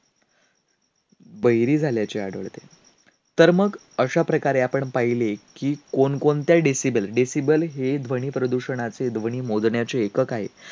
बहिरी झाल्याचे आढळते. तर मग अशा प्रकारे आपण पाहिले की कोणकोणत्या decibel decibel हे ध्वनीप्रदूषणाचे ध्वनी मोजण्याचे एकक आहे.